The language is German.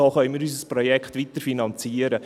So können wir unser Projekt weiterfinanzieren.